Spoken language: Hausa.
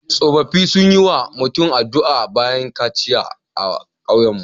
Tsofaffi sun yi wa mutum addu'a bayan kaciya a kauyenmu.